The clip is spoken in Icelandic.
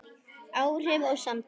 Áhrif og samtal